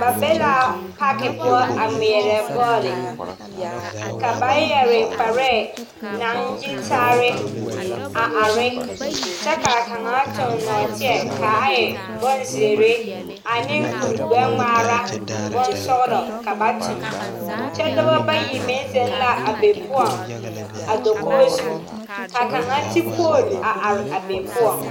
Noba la be pagpʋɔ a gmɛɛre bɔl. Ba su la kpareyitaa. Kaŋ eŋla nɔɔteziire kyɛ seɛ kpuregbɛgmaa naŋ e sɔglaa. Ba mine ziŋ la dakogezu kyɛ ka kaŋ ti pooli are